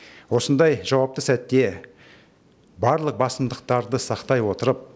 осындай жауапты сәтте барлық басымдықтарды сақтай отырып